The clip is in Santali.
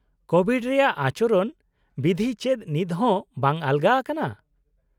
- ᱠᱳᱵᱷᱤᱰ ᱨᱮᱭᱟᱜ ᱟᱪᱚᱨᱚᱱ ᱵᱤᱫᱷᱤ ᱪᱮᱫ ᱱᱤᱛ ᱦᱚᱸ ᱵᱟᱝ ᱟᱞᱚᱜᱟ ᱟᱠᱟᱱᱟ?